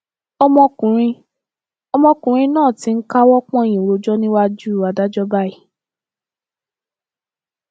ọmọkùnrin ọmọkùnrin náà ti ń káwọ pọnyìn rojọ níwájú adájọ báyìí